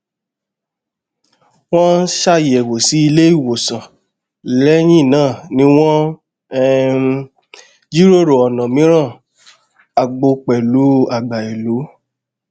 wọn ṣàyẹwò sí ilé ìwòsàn lẹyìn náà ni wọn um jiròrò ọnà mìíràn àgbo pẹlú àgbà ìlú